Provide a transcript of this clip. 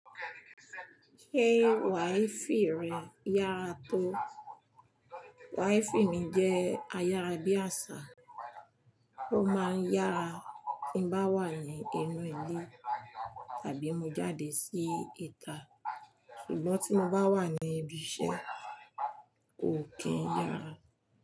Ṣé wáìfì rẹ yára tó? Wáìfì mi jẹ́ ayára bí àṣá, ó máa ń yára tí ń bá wà ní inú ilé tàbí mo jáde sí ìta, ṣùgbọ́n tí mo bá wà ní ibi iṣẹ́ kò kí n yára.